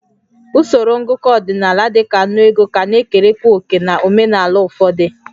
Usoro ngụkọ ọdịnala dị ka ńnú ego ka na-ekerekwa òkè na omenala ụfọdụ